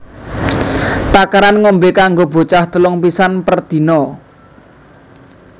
Takaran ngombe kanggo bocah telung pisan per dina